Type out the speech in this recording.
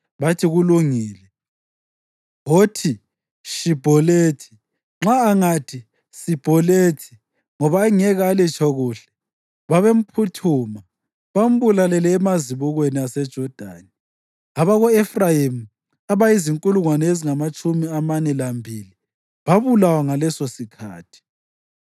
bathi, “Kulungile, wothi, ‘Shibholethi.’ ” Nxa angathi, “Sibholethi,” ngoba engeke alitsho kuhle, babemphuthuma bambulalele emazibukweni aseJodani. Abako-Efrayimi abazinkulungwane ezingamatshumi amane lambili babulawa ngalesosikhathi.